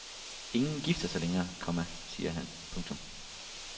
Ingen gifter sig længere, komma siger han. punktum